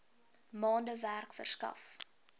maande werk verskaf